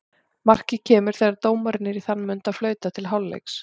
Markið kemur þegar dómarinn er í þann mund að flauta til hálfleiks.